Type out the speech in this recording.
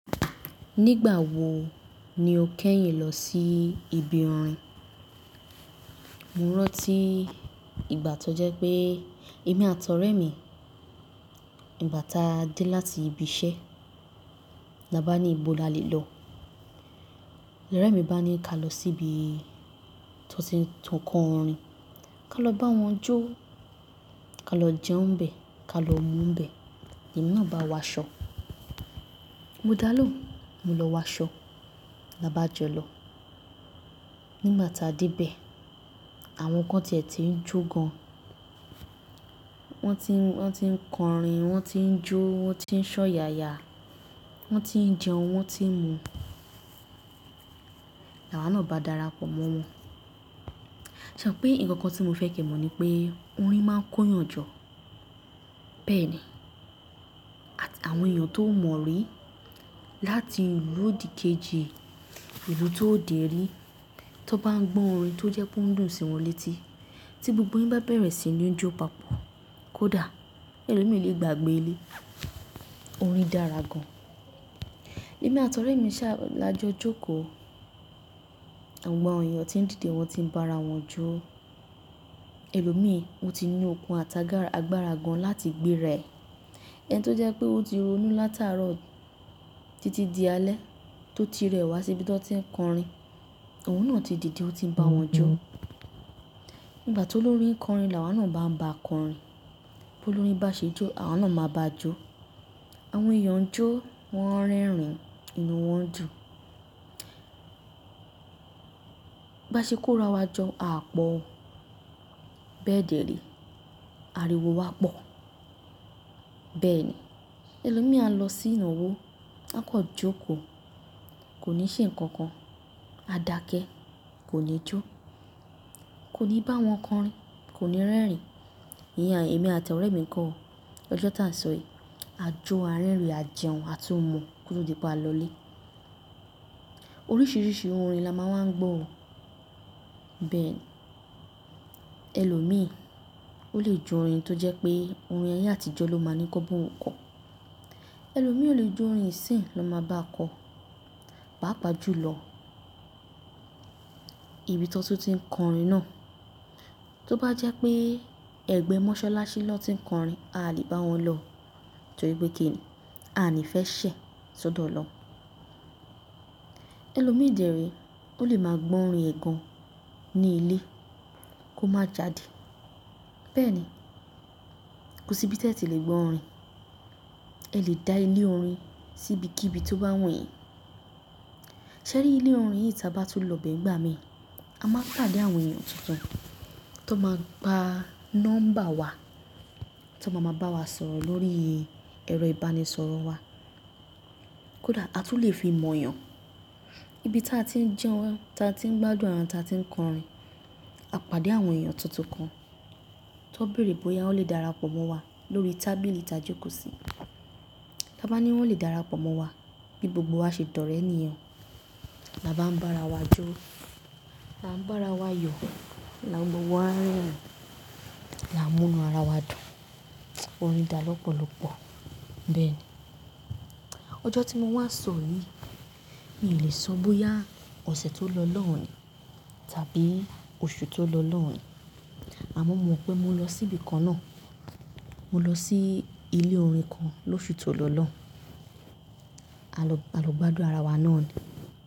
Nígbà wo ni o kẹ́yìn lọ sí ibi orin? Mo rántí ìgbà tó jẹ́ pé èmi àti ọ̀rẹ́ mi, ìgbà tí a dé láti ibi iṣẹ́, la bá ní ìbò la lè lọ. Ọ̀rẹ́ mi bá ní ká lọ sí ibi tí wọ́n ti ń kọ orin, ká lọ bá wọn jó, ká lọ jẹun n bẹ́ẹ̀, ká lọ mu n bẹ́ẹ̀, èmi náà bá wa aṣọ. Mo dá lóhùn, mo lọ wa ṣọ, la bá jọ lọ. Nígbà tí a dé bẹ́ẹ̀, àwọn kan tẹ̀ tí ń jó gan. Wọ́n ti ń kọ orin, wọ́n ti ń jó, wọ́n ti ń ṣọ́ yaya, wọ́n ti ń jẹun, wọ́n ti ń mu. Làwà náà bá darapọ̀ mọ́ wọn. Ṣe mo pé nǹkan tí mo fẹ kẹ́ mọ̀ ní pé orin máa ń kóyàn jọ. Bẹ́ẹ̀ ni. Àti àwọn èèyàn tó o mọ̀rí láti ìlú òdìkejì, ìlú tó ò dé rí, tó bá ń gbọ́ orin tó jẹ́ pé ó dùn sí wọn létí, tí gbogbo yín bá bẹ̀rẹ̀ sí ní jó papọ̀, kódà ẹlòmí lè gbàgbé ilé. Orin dára gan. Èmi àti ọ̀rẹ́ mi ṣá a lájọ jókòó. Àwọn èèyàn tí ń dìde wọ́n ti ń bá ara wọn jó. Ẹlòmí wọ́n ti ní okun àti agbára gan láti gbé ra e. Ẹni tó jẹ́ pé ó ti ronú látàárọ̀ títí di alẹ́ tó ti rẹ̀ wá sí ibi tí wọ́n ti ń kọ orin, òun náà ti dìde, ó ti ń bá wọn jó. Nígbà tó olórin n kọ orin, làwà náà bá ń bá kọ orin. Bó l órin bá ṣe jó, àwa náà máa bá a jó. Àwọn èèyàn jó, wọ́n rẹ́rìn-ín, inú wọn ń dùn. Bá ṣe kó ra wa jọ, a á pọ̀ o. Bẹ́ẹ̀ dẹ̀re, ariwo wá pọ̀. Bẹ́ẹ̀ ni. Ẹlòmi a lọ sí ìnáwó, a kọ́ jókòó, kò ní ṣe nǹkan kan. A dakẹ́, kò ní jó. Kò ní bá wọn kọ orin, kò ní rẹ́rìn-ín. Èmi àti ọ̀rẹ́ mi kọ́, ọjọ́ tí à ń sọ yí, a jó, a rẹ́rìn-ín, a jẹun, a tún mu kó tó di pé a lọlé. Oríṣiríṣi orin la máa wa ń gbọ́ o. Bẹ́ẹ̀ ni. Ẹlòmí ó lè je orin tó jẹ́ pé orin ayé àtijọ́ ló máa ni kọ́ n ba oun kọ. Ẹlòmí o lè jó orin ìsìn i ló ń máa báa kọ. Pàápàá jù lọ, ibi tó ti ń kọ orin náà, tó bá jẹ́ pé ẹgbẹ́ mọ́sálásí lọ́ ti ń kọ orin, a lè bá wọn lọ. Torí pé kí ni? A ni fẹ́ ṣẹ̀, sọ́ dọ̀ o lọoun. Ẹlòmí dère, ó lè máa gbọ́ orin ẹ̀ gàn ní ilé kó má jáde. Bẹ́ẹ̀ ni. Kò sí ibi tí ẹ tí lè gbọ́ orin. Ẹ lè dá ilé orin sí ibi kí ibi tó bá wù yín. Sẹ́rí ilé orin yìí táa bá tún lọ bẹ́ẹ̀ n gbà mí, a máa pàdé àwọn èèyàn tuntun tó máa gba nọ́mbà wa, tó máa máa bá wa sọ̀rọ̀ lórí ẹ̀rọ ìbánisọ̀rọ̀ wa. Kódà a tún lè fi mọ̀yàn. Ibi tí a ti ń jẹun, tí a ti ń gbádùn arawa, tí a ti ń kọ orin, a pàdé àwọn èèyàn tuntun kan tó béèrè bóyá wọ́n lè darapọ̀ mọ́ wa lórí tábìlì tajókòó sí. Lá bá ní wọ́n lè darapọ̀ mọ́ wa, bí gbogbo wa ṣe dọrẹ́ nìyen, la bá ń bá ara wa jó, la ń bá ara wa yọ̀, la ń mú gbogbo wa rẹ́rìn-ín, la ń mú inú ara wa dùn. Orin dára lọ́pọ̀lọ́pọ̀. Bàápàá jù lọ, ibi tí wọn tó ti ń kọ orin náà, tó bá jẹ́ pé ẹgbẹ́ mọ́sálásí lọ́ ti ń kọ orin, a lè bá wọn lọ. Àmọ́ mo mọ̀ pé mo lọ sí ibi kan náà. Mo lọ sí ilé orin kan lóṣù tó lọ lọ́hùn-ún. A lọ gbádùn ara wa náà ni.